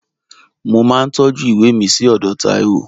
Mo máa ń tọ́jú ìwé mi sí ọ̀dọ̀ Taiwo